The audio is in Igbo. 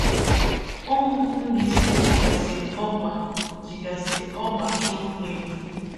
Ụmụ Mbaise jigasi ọgba jigasi ọgba chuo mmiri.